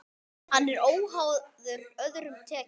Hann er óháður öðrum tekjum.